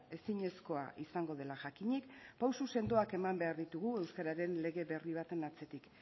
ezinezkoa izango dela jakinik pausu sendoak eman behar ditugu euskeraren lege berri baten atzetik